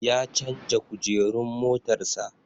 Ya canja Kujerun motar sa